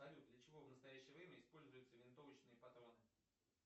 салют для чего в настоящее время используются винтовочные патроны